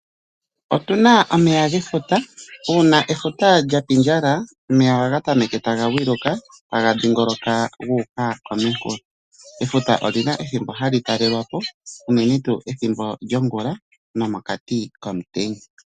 Otu na omeya gefuta, uuna efuta lya pindjala omeya ohaga temeke taga vunduka taga dhingoloka gu uka kominkulo. Efuta ili na ethimbo ha li talelwa po unene tu ethimbo longula nomokati komutenya.